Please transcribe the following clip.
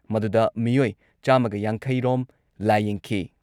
ꯃꯗꯨꯗ ꯃꯤꯑꯣꯏ ꯆꯥꯝꯃꯒ ꯌꯥꯡꯈꯩ ꯔꯣꯝ ꯂꯥꯌꯦꯡꯈꯤ ꯫